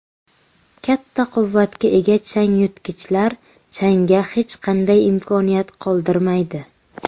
Katta quvvatga ega changyutgichlar changga hech qanday imkoniyat qoldirmaydi.